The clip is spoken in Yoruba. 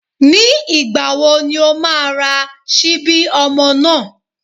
Ní ìgbà wo ni o má a ra síbí ọmọ náà?